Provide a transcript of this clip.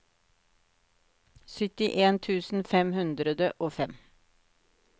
syttien tusen fem hundre og fem